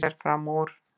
Fer fram úr.